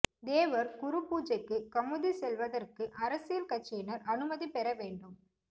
தேவர் குருபூஜைக்கு கமுதி செல்வதற்கு அரசியல் கட்சியினர் அனுமதி பெற வேண்டும்